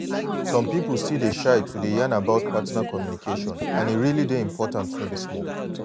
some people still dey shy to dey yan about partner communication and e really dey important no be small.